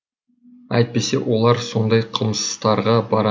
әйтпесе олар сондай қылмыстарға бара ма